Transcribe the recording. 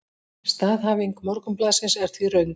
Staðhæfing Morgunblaðsins er því röng